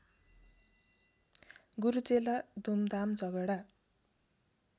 गुरुचेला धुमधाम झगडा